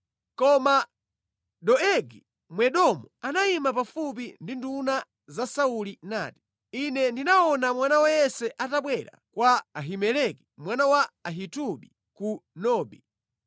Koma Doegi Mwedomu anayima pafupi ndi nduna za Sauli nati, “Ine ndinaona mwana wa Yese atabwera kwa Ahimeleki mwana wa Ahitubi ku Nobi.